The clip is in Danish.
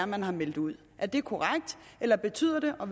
man har meldt ud er det korrekt eller betyder det og